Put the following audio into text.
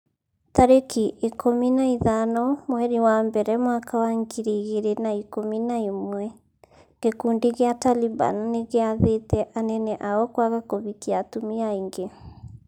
tarĩki ikũmi na ithano mweri wa mbere mwaka wa ngiri igĩrĩ na ikũmi na ĩmwe gĩkundi gĩa Taliban nĩgĩathĩte anene ao kwaga kũhikia atumia aingĩ.